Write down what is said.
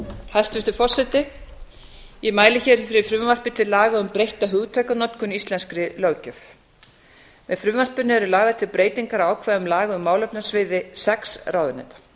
hæstvirtur forseti ég mæli hér fyrir frumvarpi til laga um breytta hugtakanotkun í íslenskri löggjöf með frumvarpinu eru lagðar til breytingar á ákvæðum laga á málefnasviði sex ráðuneyta